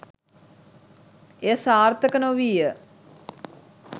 එය සාර්ථක නොවීය